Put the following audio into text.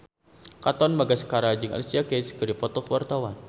Katon Bagaskara jeung Alicia Keys keur dipoto ku wartawan